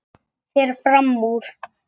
Fer fram úr.